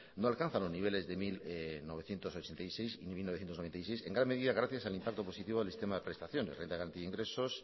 no alcanza los niveles de mil novecientos ochenta y seis y mil novecientos noventa y seis en gran medida gracias al impacto positivo del sistema de prestaciones renta garantía de ingresos